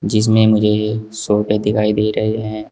जिसमें मुझे सोफे दिखाई दे रहे हैं।